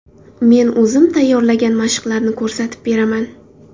Men o‘zim tayyorlagan mashqlarni ko‘rsatib beraman.